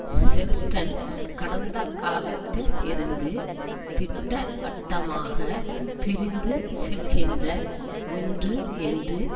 செல்ஸ்டன் கடந்த காலத்தில்லிருந்து திட்டவட்டமாக பிரிந்து செல்கின்ற ஒன்று என்று